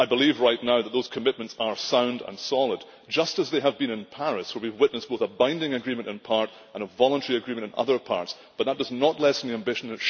I believe right now that those commitments are sound and solid, just as they have been in Paris. What we witnessed was a binding agreement in part and a voluntary agreement in other parts, but that does not lessen the ambition.